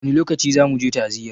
Wani lokaci zamu je ta'aziyar?